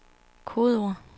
kodeord